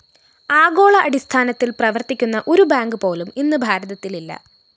ആഗോള അടിസ്ഥാനത്തില്‍ പ്രവര്‍ത്തിക്കുന്ന ഒരു ബാങ്കുപോലും ഇന്ന് ഭാരതത്തിലില്ല